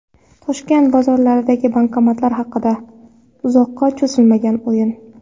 Toshkent bozorlaridagi bankomatlar haqida: Uzoqqa cho‘zilmagan o‘yin .